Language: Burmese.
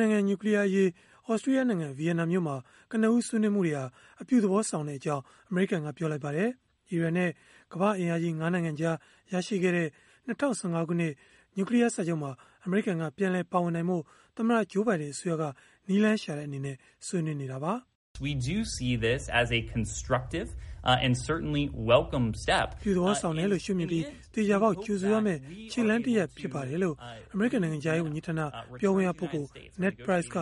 န်နိုင်ငံ နျူကလီးယားအရေး သြစတြီးယားနိုင်ငံ Vienna မြို့မှာ ကနဦးဆွေးနွေးမှုတွေဟာ အပြုသဘောဆောင်ကြောင်း အမေရိကန်က ပြောလိုက်ပါတယ်။ အီရန်နဲ့ ကမ္ဘာ့အင်အားကြီး ၅ နိုင်ငံကြား ရရှိခဲ့တဲ့ ၂၀၁၅ ခုနှစ်က နျူကလီယားစာချုပ်မှာ အမေရိကန်က ပြန်လည်ပါဝင်နိုင်ဖို့ သမ္မတ Joe Biden အစိုးရက နည်းလမ်းရှာတဲ့ အနေနဲ့ ဆွေးနွေးနေတာပါ။ “အပြုသဘောဆောင်တယ်လို့ ရှုမြင်ပြီး၊ သေချာပေါက် ကြိုဆိုရမယ့် ခြေလှမ်းတရပ်ဖြစ်ပါတယ်။” လို့ အမေရိကန် နိုင်ငံခြားရေး ဝန်ကြီးဌာန ပြောခွင့်ရပုဂ္ဂိုလ် Ned Price က